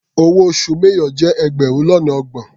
Owó oṣù major jẹ́ ẹgbẹrun lọ́nà ọgbọ̀n.